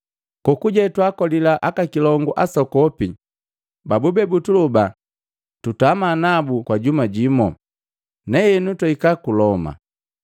Kokuje twaakolila aka kilongu asokopi babube butuloba tutama nabu kwa juma jimo. Nahenu twahika ku Loma.